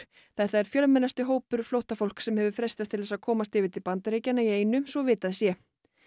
þetta er fjölmennasti hópur flóttafólks sem hefur freistað þess að komast yfir til Bandaríkjanna í einu svo vitað sé